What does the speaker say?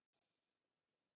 Það er skarð fyrir skildi.